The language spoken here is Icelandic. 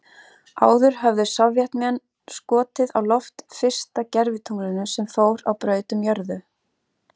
Áður höfðu Sovétmenn skotið á loft fyrsta gervitunglinu sem fór á braut um jörðu.